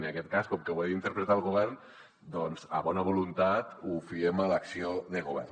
en aquest cas com que ho ha d’interpretar el govern doncs a bona voluntat ho fiem a l’acció de govern